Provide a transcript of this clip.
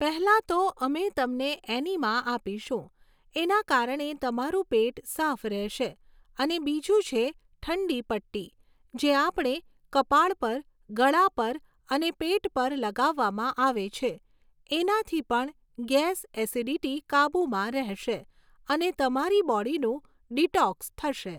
પહેલાં તો અમે તમને એનીમા આપીશું. એના કારણે તમારું પેટ સાફ રહેશે અને બીજું છે ઠંડી પટ્ટી, જે આપણે કપાળ પર, ગળા પર, અને પેટ પર લગાવવામાં આવે છે એનાથી પણ ગૅસ, ઍસિડિટી કાબુમાં રહેશે અને તમારી બૉડીનું ડીટોક્સ થશે.